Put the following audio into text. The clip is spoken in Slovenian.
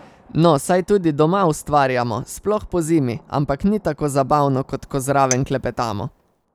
No, saj tudi doma ustvarjamo, sploh pozimi, ampak ni tako zabavno, kot ko zraven klepetamo.